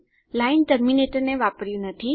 line ટર્મીનેટરને વાપર્યું નથી